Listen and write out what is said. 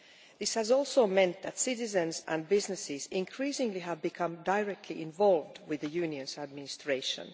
This has meant, too, that citizens and businesses increasingly have become directly involved with the Union's administration.